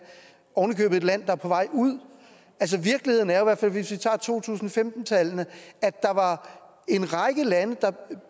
oven i købet et land der er på vej ud virkeligheden er hvis vi tager to tusind og femten tallene at der var en række lande der